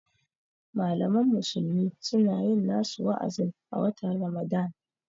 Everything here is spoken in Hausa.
Malaman musulmi suna yin nasu wa'azin a watan Ramadan